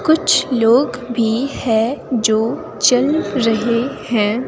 कुछ लोग भी हैं जो चल रहे हैं।